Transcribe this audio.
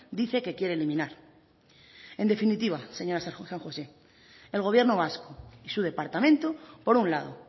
dice que quiere eliminar en definitiva señora san josé el gobierno vasco y su departamento por un lado